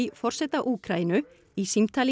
forseta Úkraínu í símtali